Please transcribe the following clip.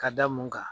Ka da mun kan